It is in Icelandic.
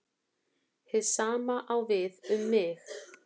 Hið sama á við um mig.